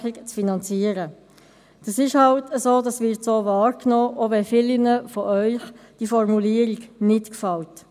Es ist halt so, es wird so wahrgenommen, auch wenn diese Formulierung vielen von Ihnen nicht gefällt.